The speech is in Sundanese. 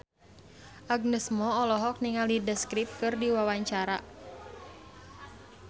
Agnes Mo olohok ningali The Script keur diwawancara